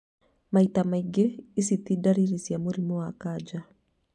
Maita maingĩ, ici ti dariri cia mũrimũ wa kanja